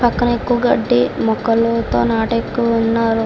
పక్కనే ఎక్కువ గడ్డి మొక్కలు తో నాటే ఎక్కువ ఉన్నారు.